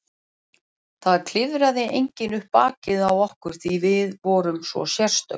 Það klifraði enginn upp bakið á okkur því við vorum svo sérstök.